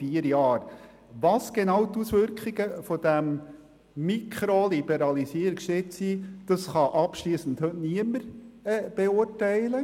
Welches genau die Auswirkungen dieses Mikroliberalisierungsschritts sind, kann heute niemand abschliessend beurteilen.